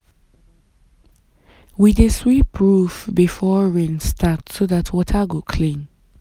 we dey sweep roof before rain start so dat water go clean.